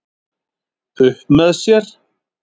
Upp með sér